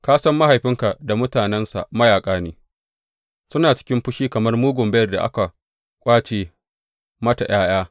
Ka san mahaifinka da mutanensa mayaƙa ne, suna cikin fushi kamar mugun beyar da aka ƙwace mata ’ya’ya.